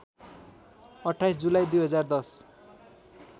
२८ जुलाई २०१०